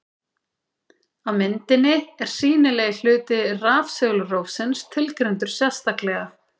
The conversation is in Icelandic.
Á myndinni er sýnilegi hluti rafsegulrófsins tilgreindur sérstaklega.